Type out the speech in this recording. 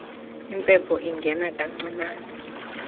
impepho ingena kancinane